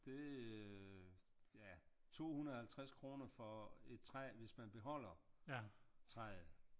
Det øh ja 250 kroner for et træ hvis man beholder træet